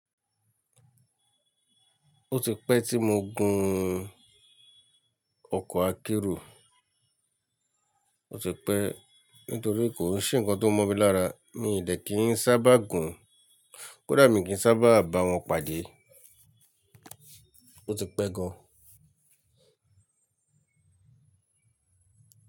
Ó ti pẹ́ tí mo gùn ọkọ̀ akérò. Ó ti pẹ́ nítorí kò sí ǹkan tó mọ́ mi lára. Mí ì dẹ̀ kí n sábà gùn. Kódà mi kì ń sábà bá wọn pàdé. Ó ti pẹ́ gan.